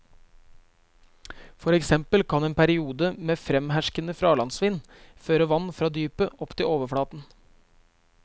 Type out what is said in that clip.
For eksempel kan en periode med fremherskende fralandsvind føre vann fra dypet opp til overflaten.